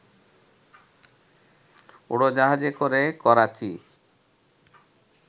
উড়োজাহাজে করে, করাচি